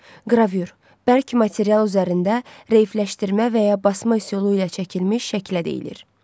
Qravür bərk material üzərində reyləşdirmə və ya basma üsulu ilə çəkilmiş şəkilə deyilir.